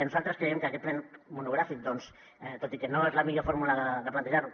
nosaltres creiem que aquest ple monogràfic tot i que no és la millor fórmula de plantejar ho